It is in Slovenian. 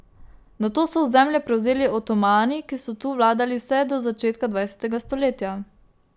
Nato so ozemlje prevzeli Otomani, ki so tu vladali vse do začetka dvajsetega stoletja.